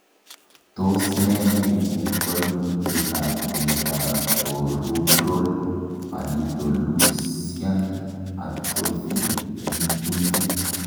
Tos nee neibu koimutietab Dentatorubral pallidoluysian atrophy en kuntit?